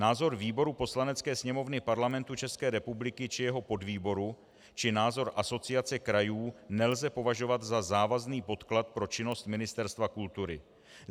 Názor výboru Poslanecké sněmovny Parlamentu České republiky či jeho podvýboru či názor Asociace krajů nelze považovat za závazný podklad pro činnost Ministerstva kultury.